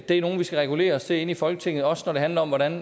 er nogle vi skal regulere os til i folketinget også når det handler om hvordan